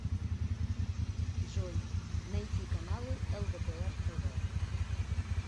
джой найти каналы лдпр тв